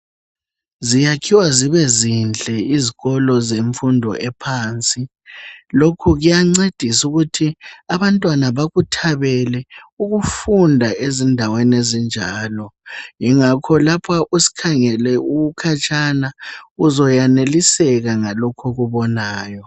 Ziyakhiwa zibezinhle izikolo zemfundo ephansi. Lokhu kuyancedisa ukuthi abantwana bakuthabele ukufunda ezindaweni ezinjalo. lngakho lapho usikhangele ukhatshana uzoyaneliseka ngalokhu okubonayo.